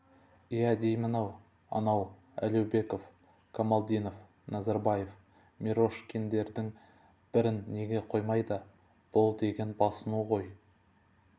иә деймін-ау ана әуелбеков камалиденов назарбаев мирошкиндердің бірін неге қоймайды бұл деген басыну ғой